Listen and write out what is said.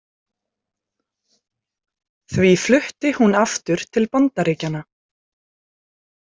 Því flutti hún aftur til Bandaríkjanna.